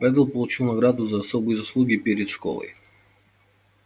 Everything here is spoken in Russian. реддл получил награду за особые заслуги перед школой